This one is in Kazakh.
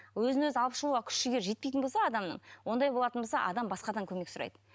өзін өзі алып шығуға күш жігері жетпейтін болса адамның ондай болатын болса адам басқадан көмек сұрайды